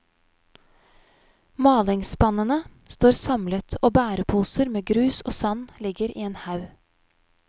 Malingsspannene står samlet og bæreposer med grus og sand ligger i en haug.